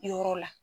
Yɔrɔ la